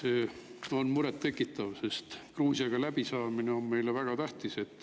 See on muret tekitav, sest Gruusiaga läbisaamine on meile väga tähtis.